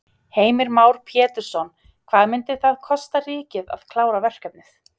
Heimir Már Pétursson: Hvað myndi það kosta ríkið að klára verkefnið?